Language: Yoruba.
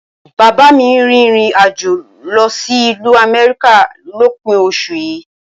Bàbá mi ń rìnrìn àjò lọ sí ìlú Amẹ́ríkà lópin oṣù yìí